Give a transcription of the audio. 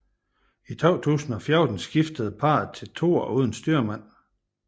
I 2014 skiftede parret til toer uden styrmand